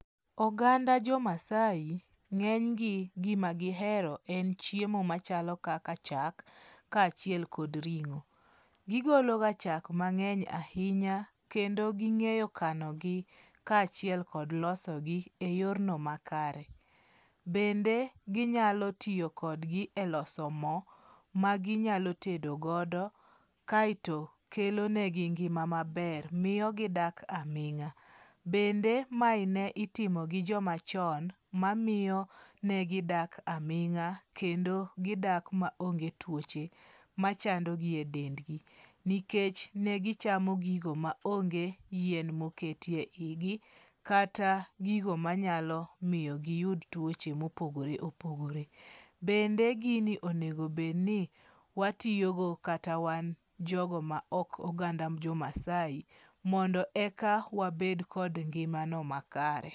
Oganda jo Maasai ng'eny gi, gima gihero en chiemo machalo kaka chak kaachiel kod ring'o. Gigologa chak mang'eny ahinya kendo ging'eyo kanogi kaachiel kod loso gi eyorno makare. Bende ginyalo tiyo kodgi e loso mo maginyalo tedo godo kaeto kelo negi ngima maber. Miyo gidak aming'a. Bende mae ne itimo gi joma chon mamiyo ne gidak aming'a kendo gidak maonge tuoche machandogi e dendgi nikech ne gichamo gigo maonge yien moket eigi kata gigo manyalo miyo giyud tuoche mopogre opogre. Bende gini onego bedni watiyogo kata wan jogo ma ok oganda jo Maasai mondo eka wabed kod ngimano makare.